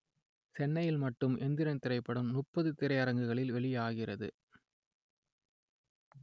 சென்னையில் மட்டும் எந்திரன் திரைப்படம் முப்பது திரையரங்குகளில் வெளியாகிறது